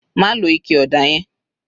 Má lo ike ọ̀dà yẹn